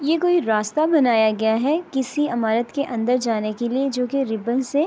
یہ ایک راستھ بنایا گیا ہے کسی امارآٹھ کے اندر جانے کے لئے جو کے ریببیں سے